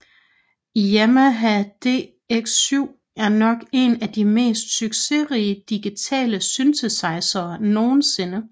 Yamaha DX7 er nok en af de mest succesrige digitale synthesizere nogensinde